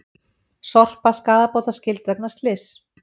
Sorpa skaðabótaskyld vegna slyss